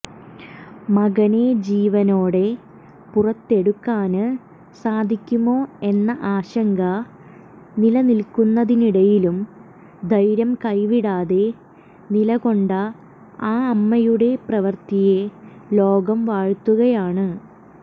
മകനെ ജീവനോടെ പുറത്തെടുക്കാന് സാധിക്കുമോ എന്ന ആശങ്ക നിലനിൽക്കുന്നതിനിടയിലും ധൈര്യം കൈവിടാതെ നിലകൊണ്ട ആ അമ്മയുടെ പ്രവൃത്തിയെ ലോകം വാഴ്ത്തുകയാണ്